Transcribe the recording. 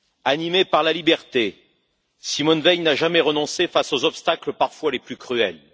Animée par la liberté, Simone Veil n'a jamais renoncé face aux obstacles parfois les plus cruels.